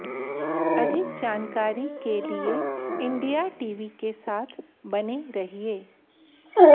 अधिक जानकारी के लिए इंडिया टीवी के साथ बने रहिए